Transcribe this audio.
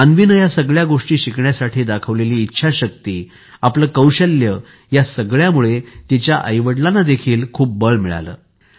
अन्वीने या सगळ्या गोष्टी शिकण्यासाठी दाखवलेली इच्छाशक्ती आपले कौशल्य यासगळ्यामुळे तिच्या आईवडिलांना देखील खूप बळ मिळाले